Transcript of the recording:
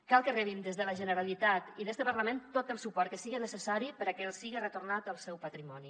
cal que rebin des de la generalitat i d’este parlament tot el suport que siga necessari perquè els siga retornat el seu patrimoni